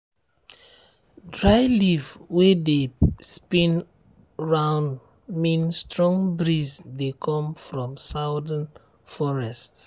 dry leaf wey dey spin round mean strong breeze dey come from southern forest.